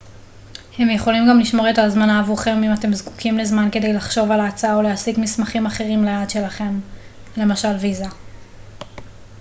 הם יכולים גם לשמור את ההזמנה עבורכם אם אתם זקוקים לזמן כדי לחשוב על ההצעה או להשיג מסמכים אחרים ליעד שלכם למשל ויזה